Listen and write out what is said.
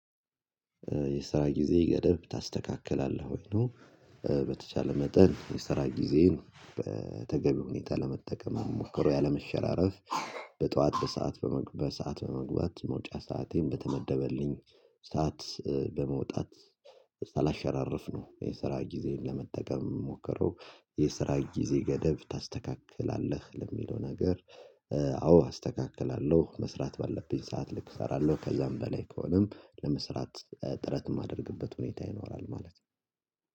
የስራ ጊዜ ገደብ ታስተካክላለህ ወይ ነው? በተቻለ መጠን የስራ ጊዜን በተገቢ ሁኔታ ለመጠቀም ሞክሮ ያለመሸራረፍ በጠዋት በሰአት በመግባት በሰአት በመግባት መውጫ ሰአቴን በተመደበልኝ ሰዓት በመውጣት ሳላሸራርፍ ነው። የሰራ ጊዜን ለመጠቀም ምሞክረው የስራ ጊዜ ገደብ ታስተካክላለህ ለሚለው ነገር። አዎ አስተካክላለሁ መስራት ባለብኝ ሰዓት ልክ እሰራለሁ ከዛም በላይ ከሆነም ለመስራት ጥረት እማደርግበት ሁኔታ ይኖራል ማለት ነው